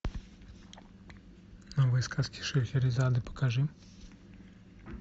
новые сказки шахерезады покажи